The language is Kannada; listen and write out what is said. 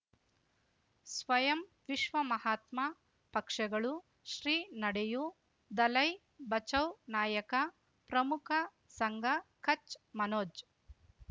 ಸ್ವಯಂ ವಿಶ್ವ ಮಹಾತ್ಮ ಪಕ್ಷಗಳು ಶ್ರೀ ನಡೆಯೂ ದಲೈ ಬಚೌ ನಾಯಕ ಪ್ರಮುಖ ಸಂಘ ಕಚ್ ಮನೋಜ್